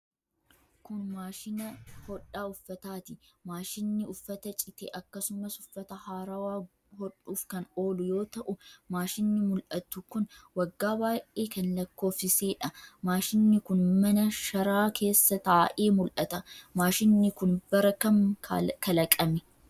Kun, maashina hodhaa uffataati. Maashinni uffata cite akkasumas uffata haarawa hodhuuf kan oolu yoo ta'u, maashinni mul'atu kun waggaa baay'ee kan lakkoofsisee dha. Maashinni kun, mana sharaa keessa taa'ee mul'ata. Maashinni kun, bara kam kalaqame?